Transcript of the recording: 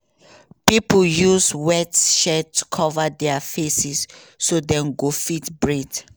pipo use sweatshirts to cover dia faces so dem go fit breathe.